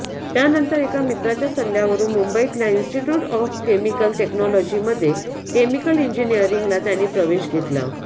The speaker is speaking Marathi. त्यानंतर एका मित्राच्या सल्ल्यावरून मुंबईतल्या इंस्टिट्युट ऑफ केमिकल टेक्नॉलॉजीमध्ये केमिकल इंजिनिअरिंगला त्यांनी प्रवेश घेतला